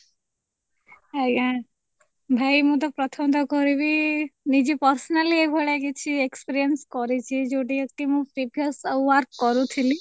ଆଜ୍ଞା, ଭାଇ ମୁଁ ତ ପ୍ରଥମତଃ କହିବି ନିଜେ personal ଏଇ ଭଳିଆ କିଛି experience କରିଛି ଯୋଉଠି କି ମୁଁ previous work କରୁଥିଲି